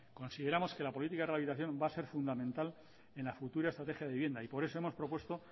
consideramos que la política de rehabilitación va a ser fundamental en la futura estrategia de vivienda y por eso hemos propuesto